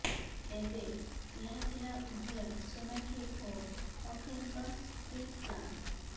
ତେବେ ଏହା ଥିଲା ଉଭୟ ସୋନାକ୍ଷୀ ଓ ଅକ୍ଷୟଙ୍କ ପ୍ରିପ୍ଲାନ୍